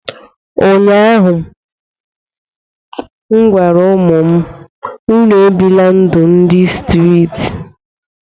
ụnyahụ m gwara ụmụ m, unu ebila ndụ ndị streeti